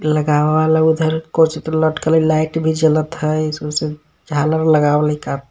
लगावल उधर कोची त लटकल ह लाइट भी जलत ह झालर लगावल ह.